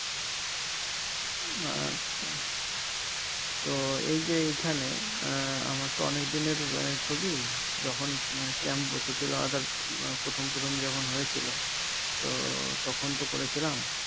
আচ্ছা তো এই যে এখানে আহ আমার তো অনেকদিনের আহ ছবি যখন camp বসেছিল ওদের আহ প্রথম প্রথম যখন হয়েছিল তো তখন তো করেছিলাম